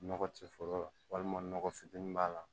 Nɔgɔ tɛ foro la walima nɔgɔ fitinin b'a la